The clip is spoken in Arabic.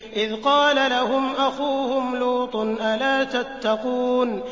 إِذْ قَالَ لَهُمْ أَخُوهُمْ لُوطٌ أَلَا تَتَّقُونَ